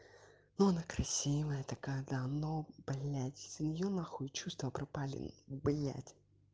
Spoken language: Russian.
но она красивая такая да но бля семью нахуй чувства пропали блять